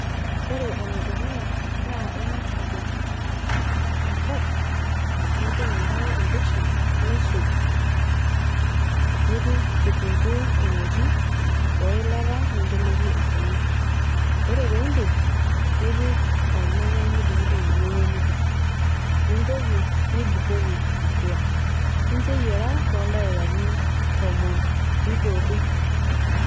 Ore ene dukuya naa ingas adotu tenkop , nipik enkare embeshen , nisuj ,nipik kitunguu emoti oe ilata ninteleki enkima . ore pindip nipik ornyanyai , nidungdung ornyanyai nipik ,nintoki nibukoki atua , nincho eyiera toldaikani tomon nidotu .